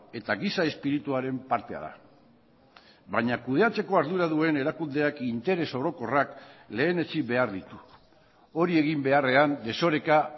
eta giza espirituaren partea da baina kudeatzeko ardura duen erakundeak interes orokorrak lehenetsi behar ditu hori egin beharrean desoreka